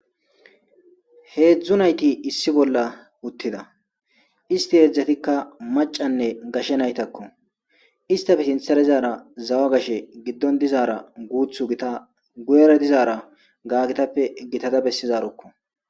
Heedzdzu nayti issi bolla uttida isti heedzdzatikka macanne gashe naytakko istafe sinthara izaara zawa gashe giddon dizaara guuthu gita guyera dizaara gaagitappe gitada bessizarukko